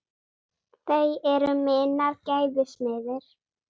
Þau eru minnar gæfu smiðir.